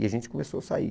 E a gente começou a sair.